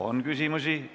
On küsimusi.